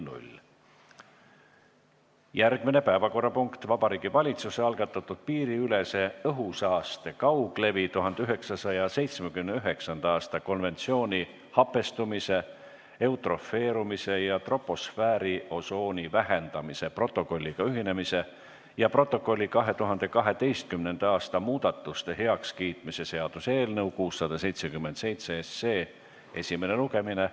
Järgmine päevakorrapunkt: Vabariigi Valitsuse algatatud piiriülese õhusaaste kauglevi 1979. aasta konventsiooni hapestumise, eutrofeerumise ja troposfääriosooni vähendamise protokolliga ühinemise ja protokolli 2012. aasta muudatuste heakskiitmise seaduse eelnõu 677 esimene lugemine.